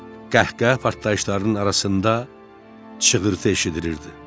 Qəhqəhə partlayışlarının arasında çığırtı eşidilirdi.